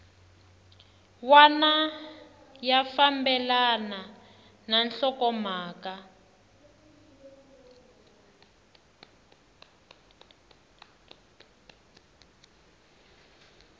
wana ya fambelana na nhlokomhaka